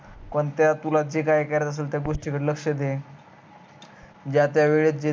कोणत्या तुला जे काही करायचं आहे त्या गोष्टी कड लक्ष्य दे ज्या त्या वेळेस